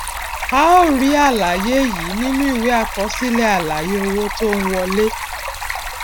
a ó rí àlàyé yìí nínú ìwé àkọsílẹ àlàyé owó tó ń wọlé